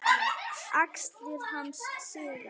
Axlir hans síga.